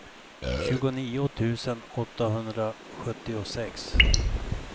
tjugonio tusen åttahundrasjuttiosex